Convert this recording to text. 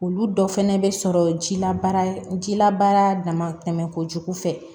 Olu dɔ fɛnɛ be sɔrɔ jila baara jila baara dama tɛmɛ kojugu fɛ